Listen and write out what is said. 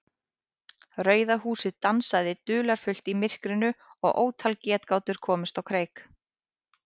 Rauða húsið dansaði dularfullt í myrkrinu og ótal getgátur komust á kreik.